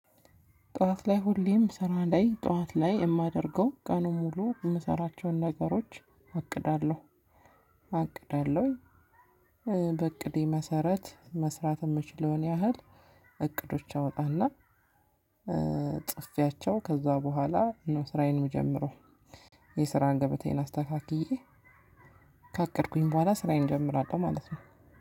ጠዋት ላይ ሁሌም ስራ ላይ ጠዋት ላይ የማደርገው ቀኑን ሙሉ የምሰራቸውን ነገሮች አቅዳለሁ አቅዳለሁ በእቅዴ መሰረት መስራት የምችለውን ያህል እቅዶች አውጣለሁ። ጽፌያቸው ከዛ በኋላ ነው ስራዬን የምጀምረው። የስራን ገበታዬን አስተካክዬ ካቀድኩኝ በኋላ ስራየን እጀምራለሁ ማለት ነው።